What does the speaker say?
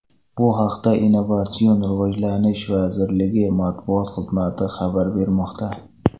Bu haqda Innovatsion rivojlanish vazirligi Matbuot xizmati xabar bermoqda.